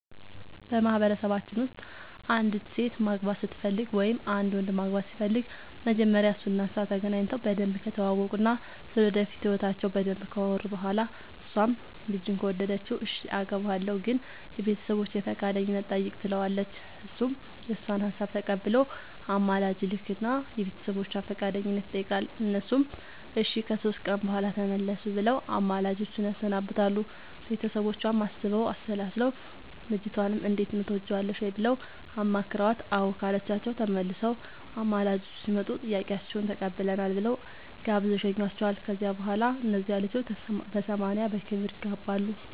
በማህበረሰባችን ውስጥ አንዲት ሴት ማግባት ስትፈልግ ወይም አንድ ወንድ ማግባት ሲፈልግ መጀመሪያ እሱ እና እሷ ተገናኝተው በደንብ ከተዋወቁ እና ስለ ወደፊት ህይወታቸው በደንብ ካወሩ በኋላ እሷም ልጁን ከወደደችው እሽ አገባሀለሁ ግን የቤተሰቦቼን ፈቃደኝነት ጠይቅ ትለዋለች እሱም የእሷን ሀሳብ ተቀብሎ አማላጅ ይልክ እና የቤተሰቦቿን ፈቃደኝነት ይጠይቃል እነሱም እሺ ከሶስት ቀን በኋላ ተመለሱ ብለው አማላጆቹን ያሰናብታሉ ቤተሰቦቿም አስበው አሠላስለው ልጅቷንም እንዴት ነው ትወጅዋለሽ ወይ ብለው አማክረዋት አዎ ካለቻቸው ተመልሰው አማላጆቹ ሲመጡ ጥያቄያችሁን ተቀብለናል ብለው ጋብዘው ይሸኙዋቸዋል ከዚያ በኋላ እነዚያ ልጆች በሰማንያ በክብር ይጋባሉ።